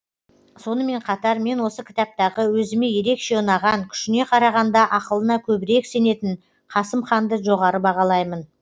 сонымен қатар мен осы кітаптағы өзіме ерекше ұнаған күшіне қарағанда ақылына көбірек сенетін қасым ханды жоғары бағалаймын